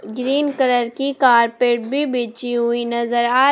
green colour की carpet भी बिछी हुई नजर आ रही--